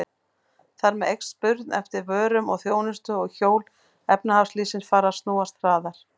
Þar með eykst spurn eftir vörum og þjónustu og hjól efnahagslífsins fara að snúast hraðar.